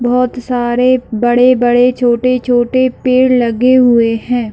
बहुत सारे बड़े-बड़े छोटे-छोटे पेड़ लगे हुए है!